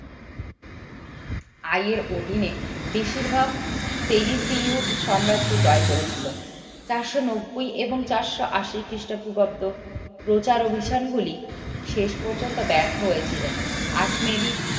অধীনে বেশিরভাগ সাম্রাজ্য জয় করেছিল চারশো নব্বই থেকে চারশো আশি খ্রিস্টপূর্বাব্দ প্রচার অভিযানগুলি শেষ পর্যন্ত ব্যর্থ হয়েছিল